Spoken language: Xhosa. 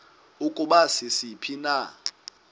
ukuba sisiphi na